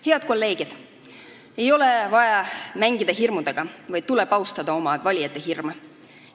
Head kolleegid, ei ole vaja mängida hirmudega, vaid tuleb austada oma valijate hirme.